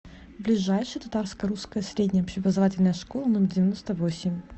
ближайший татарско русская средняя общеобразовательная школа номер девяносто восемь